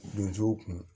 Donsow kun